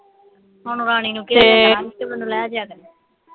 ਹੁਣ ਰਾਣੀ ਨੂੰ ਮੈਨੂੰ ਲੈ ਜਾਇਆ ਕਰੇ